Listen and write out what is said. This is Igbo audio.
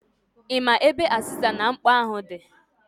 Ị ma ebe azịza na mkpo ahụ di?